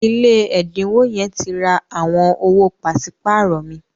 ilé ẹdinwo yen ti rà àwọn owo paṣipaarọ mi.